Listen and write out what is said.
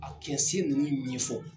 A kɛ sen ninnu ɲɛfɔ.